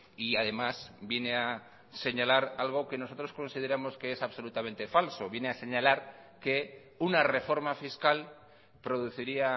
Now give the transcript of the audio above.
y además viene a señalar algo que nosotros consideramos que es absolutamente falso viene a señalar que una reforma fiscal produciría